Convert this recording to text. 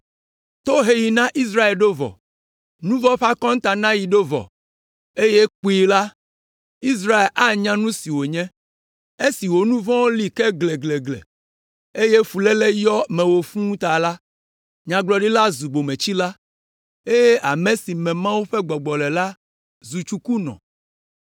Toheɣi na Israel ɖo vɔ; nu vɔ̃ ƒe akɔntanaɣi ɖo vɔ, eye kpuie la, Israel anya nu si wònye. Esi wò nu vɔ̃wo li kɔ gleglegle, eye fuléle yɔ mewò fũu ta la, nyagblɔɖila zu bometsila, eye ame si me Mawu ƒe gbɔgbɔ le la zu tsukunɔ.